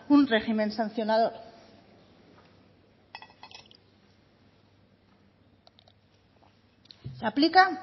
un régimen sancionador se aplica